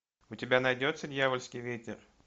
у тебя найдется дьявольский ветер